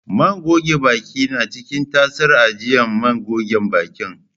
Man goge baki na ciki tasar ajiyan man gogen bakin.